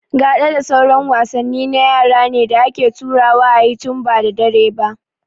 Gaɗa da sauran wasanni na yara ne da ake taruwa a yi tun ba da dare ba